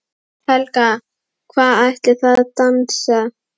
Helga: Hvað ætlið þið að dansa?